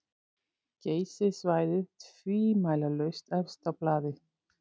Geysissvæðið tvímælalaust efst á blaði.